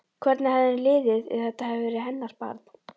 Hvernig hefði henni liðið ef þetta hefði verið hennar barn?